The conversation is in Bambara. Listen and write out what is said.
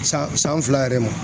San san fila yɛrɛ ma